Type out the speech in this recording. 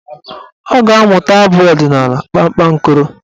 Ọ ga-amụta abụ ọdịnaala "kpakpankoro"